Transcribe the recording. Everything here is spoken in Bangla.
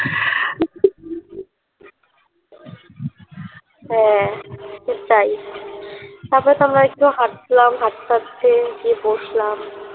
হ্যাঁ ঠিক তাই তারপর তো আমরা একটু হাটলাম হাটতে হাটতে গিয়ে বসলাম